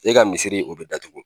E ka misiri o bɛ datugu